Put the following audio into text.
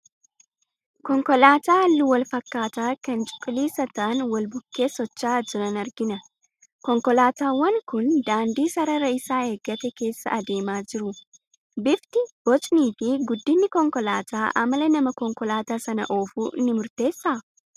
Konkolaataa halluu wal fakkaataa kan cuquliisa ta'an wal bukkee socho'aa jiran argina. Konkolaataawwan kun daandii sarara isaa eeggate keessa adeemaa jiru. Bifti, bocnii fi guddinni konkolaataa amala nama Konkolaataa sana oofuu ni murteessaa?